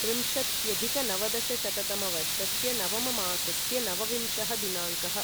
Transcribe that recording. त्रिंशत्यधिकनवदशशततमवर्षस्य नवममासस्य नवविंशः दिनाङ्कः